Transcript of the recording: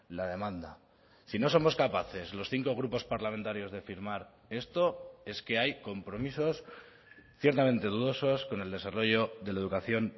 la demanda si no somos capaces los cinco grupos parlamentarios de firmar esto es que hay compromisos ciertamente dudosos con el desarrollo de la educación